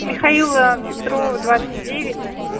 михаила петрова двадцать девять